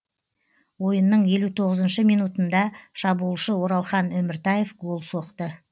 ойынның елу тоғызыншы минутында шабуылшы оралхан өміртаев гол соқты